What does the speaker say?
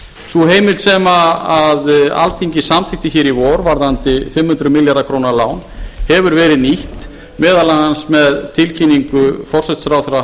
sú heimild sem alþingi samþykkti hér í vor varðandi fimm hundruð milljarða króna lán hefur verið nýtt meðal annars með tilkynningu forsætisráðherra